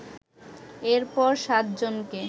এরপর সাত জনকে